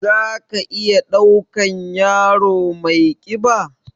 Za ka iya ɗaukan yaro mai ƙiba?